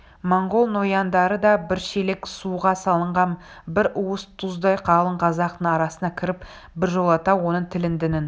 монғол нояндары да бір шелек суға салынған бір уыс тұздай қалың қазақтың арасына кіріп біржолата оның тілін дінін